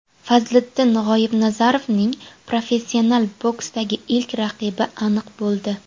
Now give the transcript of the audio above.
Fazliddin G‘oibnazarovning professional boksdagi ilk raqibi aniq bo‘ldi.